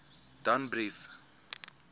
danbrief